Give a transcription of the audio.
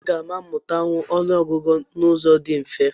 Aga m amụta ọnụọgụgụ n'ụzọ dị mfe?